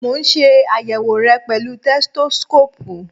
Mo ń ṣe àyèwò re pẹ̀lú tẹsitósíkóòpù